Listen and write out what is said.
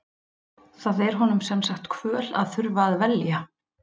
Það er honum sem sagt kvöl að þurfa að velja.